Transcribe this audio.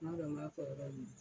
N ma dɔn b'a fɔ yɔrɔ min.